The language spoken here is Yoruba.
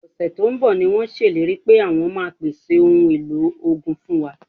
Ọ̀sẹ̀ tó ń bọ̀ ni wọ́n ṣèlérí pé àwọn máa pèsè ohun èlò ogun fún wa